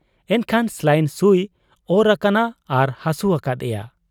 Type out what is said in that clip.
ᱮᱱᱠᱷᱟᱱ ᱥᱟᱞᱟᱭᱤᱱ ᱥᱩᱭ ᱚᱨ ᱟᱠᱟᱱᱟ ᱟᱨ ᱦᱟᱹᱥᱩ ᱟᱠᱟᱫ ᱮᱭᱟ ᱾